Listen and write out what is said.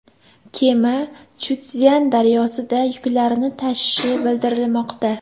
Kema Chjutszyan daryosida yuklarni tashishi bildirilmoqda.